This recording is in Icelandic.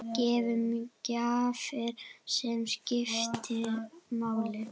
Gefum gjafir sem skipta máli.